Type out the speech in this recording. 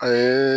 A ye